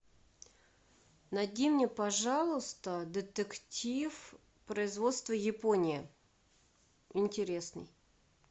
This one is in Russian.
найди мне пожалуйста детектив производство япония интересный